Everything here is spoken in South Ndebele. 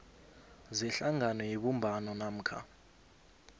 zehlangano yebumbano namkha